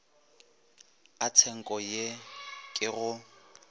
a tshenko ye ke go